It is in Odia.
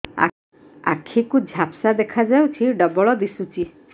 ଆଖି କୁ ଝାପ୍ସା ଦେଖାଯାଉଛି ଡବଳ ଦିଶୁଚି